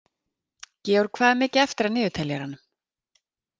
Georg, hvað er mikið eftir af niðurteljaranum?